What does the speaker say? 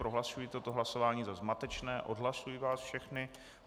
Prohlašuji toto hlasování za zmatečné, odhlašuji vás všechny.